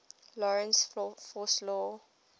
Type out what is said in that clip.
lorentz force law